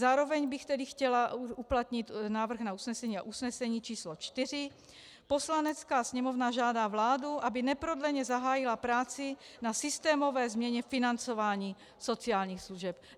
Zároveň bych tedy chtěla uplatnit návrh na usnesení a usnesení č. 4: "Poslanecká sněmovna žádá vládu, aby neprodleně zahájila práci na systémové změně financování sociálních služeb."